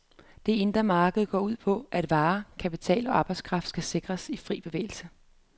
Det indre marked går ud på, at varer, kapital og arbejdskraft skal sikres fri bevægelse.